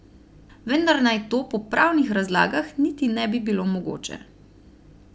Vendar naj to po pravnih razlagah niti ne bi bilo mogoče.